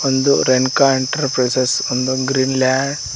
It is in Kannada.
ಒಂದು ರೇಣುಕಾ ಎಂಟರ್ಪ್ರೈಸಸ್ ಒಂದು ಗ್ರೀನ ಲ್ಯಾ --